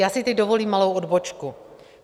Já si teď dovolím malou odbočku.